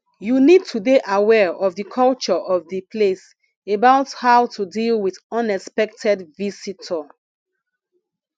you need to dey aware of di culture of di place about how to deal with unexpected visitor